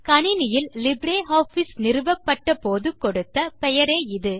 கணினியில் லிப்ரியாஃபிஸ் நிறுவப்பட்ட போது கொடுத்த பெயரே இது